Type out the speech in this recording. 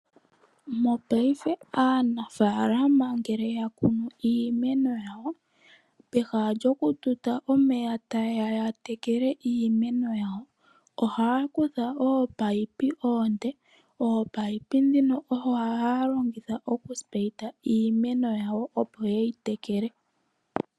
paife aanafaalama ngele ya kunu iimeno yawo, pehala lyokututa omeya taye ya ya tekele iimeno yawo ohaa kutha ominino omile, ominino ndhino ohaye dhi longitha okutsinina iimeno yawo, opo ye yi tekele.